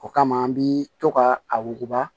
O kama an bi to k'a a wuguba